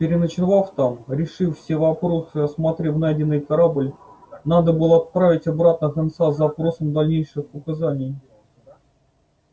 переночевав там решив все вопросы и осмотрев найденный кабель надо было отправить обратно гонца с запросом дальнейших указаний